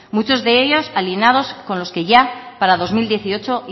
muchos de ellos alineados con los que ya para dos mil dieciocho